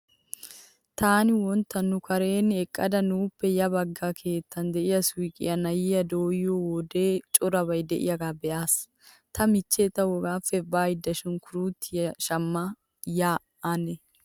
Taani wontta nu kareeni eqqada nuuppe ya bagga keettan diya suuqiya na'ay dooyiyo wode corabay diyagaa be'aas. Ta michchee tawu hegaappe baada sunkkuruutuwa shamma ya ane.